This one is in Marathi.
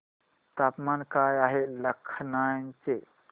तापमान काय आहे लखनौ चे